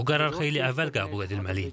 Bu qərar xeyli əvvəl qəbul edilməli idi.